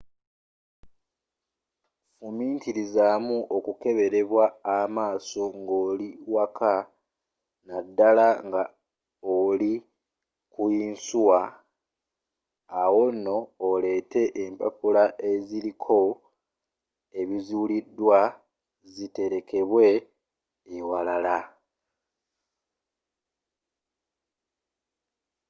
fumitirizaamu okukeberebwa amaaso ngoli waka naddala nga oliku yinsuwa awo nno oleete empapula eziriko ebizuulidwa ziterekebwe ewalala